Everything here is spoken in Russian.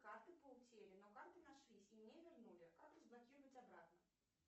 карты по утере но карты нашлись и мне вернули как разблокировать обратно